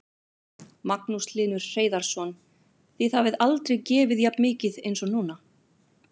Magnús Hlynur Hreiðarsson: Þið hafið aldrei gefið jafn mikið eins og núna?